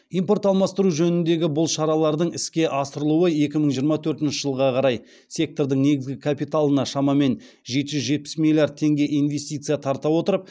импорт алмастыру жөніндегі бұл шаралардың іске асырылуы екі мың жиырма төртінші жылға қарай сектордың негізгі капиталына шамамен жеті жүз жетпіс миллиард теңге инвестиция тарта отырып